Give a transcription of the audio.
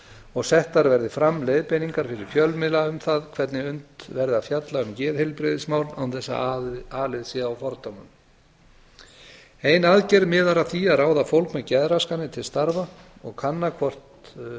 og settar verði fram leiðbeiningar fyrir fjölmiðla um það hvernig unnt verði að fjalla um geðheilbrigðismál án þess að alið sé á fordómum ein aðgerð miðar að því að ráða fólk með geðraskanir til starfa og kanna hvort